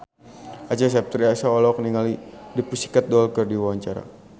Acha Septriasa olohok ningali The Pussycat Dolls keur diwawancara